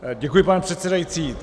Děkuji, pane předsedající.